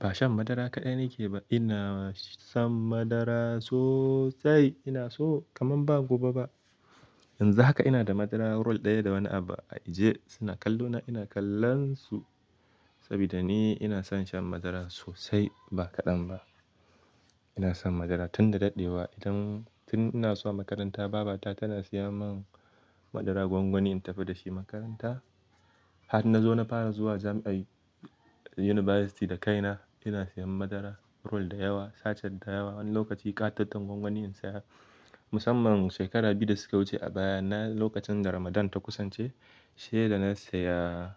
Ba shan madara kaɗai nake ba. Ina shan madara sosai. Ina so kamar ba gobe ba. Yanzun haka ina da madara roll ɗaya da wani abu a ajiye. Suna kallo na ina kallon su. Saboda ni ina son shan madara sosai ba kaɗan ba. Ina son madara tun da daɗewa. Idan tun ina zuwa makaranta baba ta tana siya mun madara gwangwani in tafi da shi makaranta. Har na zo na fara zuwa jami'ai university da kaina ina siyan madara roll da yawa, sace da yawa. Wani lokaci ƙataton gwangwaniyi na siya. Musamman shekaru biyu da suka wuce a baya na lokacin da Ramadan ta kusance shi ya da na siya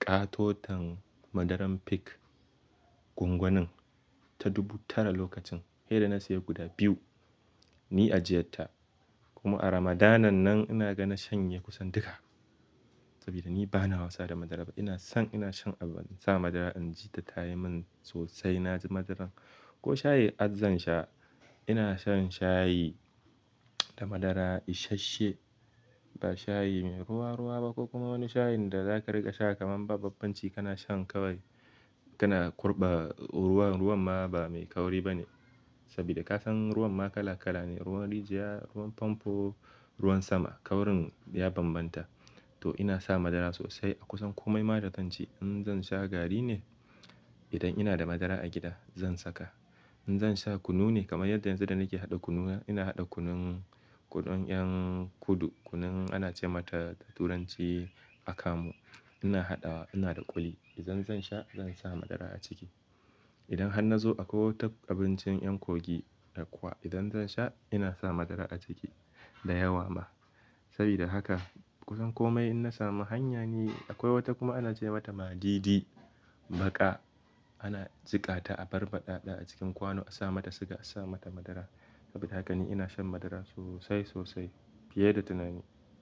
ƙatoton madaran peak gwangwanin ta dubu tara lokacin. Sai da na siya guda biyu ni ajiyarta. Kuma a Ramadan nan ina ga na shanye kusan duka. Saboda ni bana wasa da madara ba. Ina son ina shan abu in sa madara inji ta ta yi min sosai. Na ji madaran ko shayi har zan sha. Ina shan shayi da madara isasshe. Ba shayi mai ruwa ruwa ba ko kuma wani shayin da zaka riga sha kamar ba bambanci kana shan kawai kana kurɓa ruwan. Ruwan ma ba mai kauri ba ne. Saboda ka san ruwan ma kala kala ne. Ruwan rijiya, ruwan famfo, ruwan sama kaurin ya bambanta. To ina sa madara sosai a kusan komai. Maɗa tanci in zan sha gari ne idan ina da madara a gida zan saka. In zan sha kunu ne kamar yadda yanzu da nake haɗa kunu ina haɗa kunun kuɗan 'yan kudu kunun ana ce mata turanci akamu. Ina haɗawa ina da ƙwai idan zan sha zan sa madara a ciki. Idan har na zo akwai wata abincin 'yan Kogi akwa idan zan sha ina sa madara a ciki da yawa ma. Sabida haka kusan komai ina samu hanya ne. Akwai wata kuma ana ce mata maɗidi baƙa. Ana jika ta a bar baɗaɗa a cikin kwano a sa mata siga a sa mata madara. Saboda haka ni ina shan madara sosai sosai fiye da tunani.